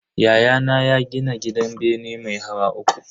Yayana ya gini gidan bene mai hawa uku.